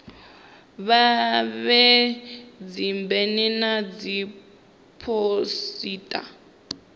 vha vhee dzibena na dziphosita